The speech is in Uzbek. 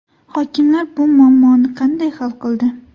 Hokimlar bu muammoni qanday hal qildi?